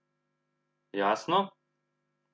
Jasno?